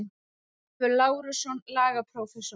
Ólafur Lárusson, lagaprófessor.